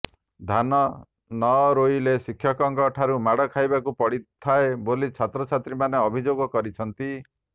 ଧାନ ନ ରୋଇଲେ ଶିକ୍ଷକଙ୍କ ଠାରୁ ମାଡ଼ ଖାଇବାକୁ ପଡ଼ିଥାଏ ବୋଲି ଛାତ୍ରଛାତ୍ରୀମାନେ ଅଭିଯୋଗ କରିଛନ୍ତି